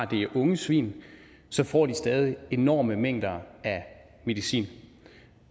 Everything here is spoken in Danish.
det er unge svin så får de stadig enorme mængder af medicin